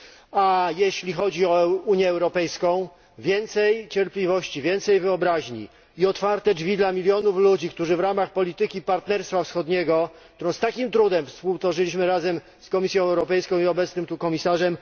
A jeśli chodzi o Unię Europejską więcej cierpliwości, więcej wyobraźni i otwarte drzwi dla milionów ludzi w ramach polityki partnerstwa wschodniego, którą z takim trudem współtworzyliśmy razem z Komisją Europejską i obecnym tutaj komisarzem.